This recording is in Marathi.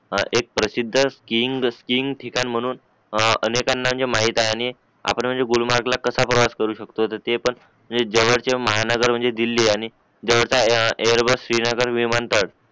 हा एक प्रसिद्ध स्किंग स्किंग ठिकाण म्हणून आ अनेकांना जे माहितआहे आपण म्हणजे गुलमर्ग ला म्हणजे कसा प्रवास करू शकतो तर तर ते पण म्हणजे जवळचे महानगर म्हणजे दिल्ली आणि एरबस तीन हजार विमानतळ